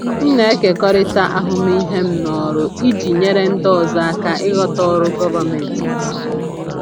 M na-ekekọrịta ahụmịhe m n’ọrụ iji nyere ndị ọzọ aka ịghọta ọrụ gọvanmentị nke ọma.